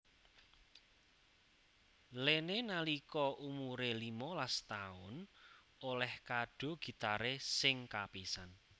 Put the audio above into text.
Lene nalika umuré limolas taun olèh kado gitaré sing kapisan